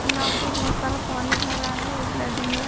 यहाँ पे बहुत सारा पानी भरा है एक नदी है।